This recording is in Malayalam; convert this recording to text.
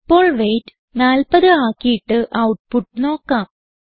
ഇപ്പോൾ വെയ്റ്റ് 40 ആക്കിയിട്ട് ഔട്ട്പുട്ട് നോക്കാം